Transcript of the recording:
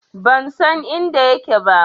Ban san inda yake ba.